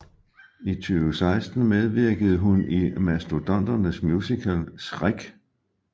I 2016 medvirkede hun i Mastodonternes musical Shrek